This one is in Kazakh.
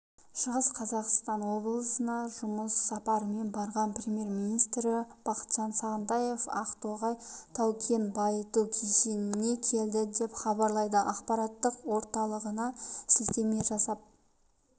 шығыс қазақстан облысына жұмыс сапарымен барған премьер-министрі бақытжан сағынтаев ақтоғай тау-кен байыту кешеніне келді деп хабарлайды ақпараттық орталығына сілтеме жасап